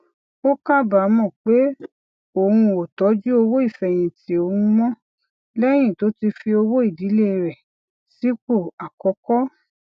ó kábàámò pé òun ò tójú owó ìfèyìntì òun mó léyìn tó ti fi owó ìdílé rè sípò àkókó